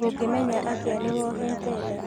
ũngĩmenya atĩ nĩwohete nda?